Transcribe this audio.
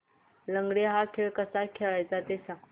लंगडी हा खेळ कसा खेळाचा ते सांग